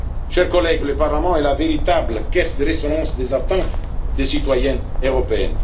Chers collègues, le Parlement est la véritable caisse de résonance des attentes des citoyens